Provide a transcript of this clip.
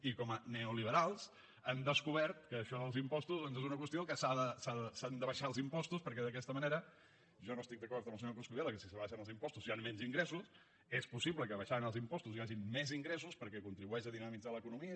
i com a neoliberals han descobert que això dels impostos doncs és una qüestió que s’han d’abaixar els impostos perquè d’aquesta manera jo no estic d’acord amb el senyor coscubiela que si s’abaixen els impostos hi han menys ingressos és possible que abaixant els impostos hi hagin més ingressos perquè contribueix a dinamitzar l’economia